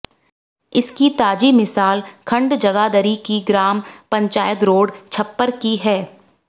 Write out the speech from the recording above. इसकी ताजी मिसाल खंड जगाधरी की ग्राम पंचायत रोड छप्पर की है